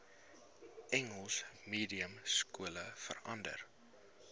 engels mediumskole verander